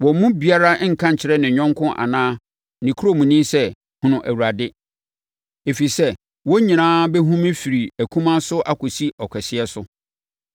Wɔn mu biara renka nkyerɛ ne yɔnko anaa ne kuromni sɛ, ‘Hunu Awurade,’ ɛfiri sɛ, wɔn nyinaa bɛhunu me firi akumaa so kɔsi ɔkɛseɛ so.